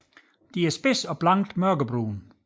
De er spidse og blankt mørkebrune